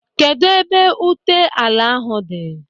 Kedụ ebe ụta ala ahụ dị?